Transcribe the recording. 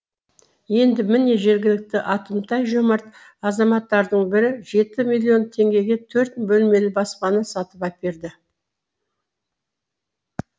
енді міне жергілікті атымтай жомарт азаматтардың бірі жеті миллион теңгеге төрт бөлмелі баспана сатып әперді